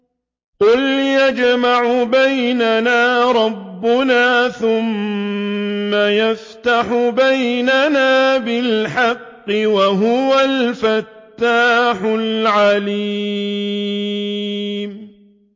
قُلْ يَجْمَعُ بَيْنَنَا رَبُّنَا ثُمَّ يَفْتَحُ بَيْنَنَا بِالْحَقِّ وَهُوَ الْفَتَّاحُ الْعَلِيمُ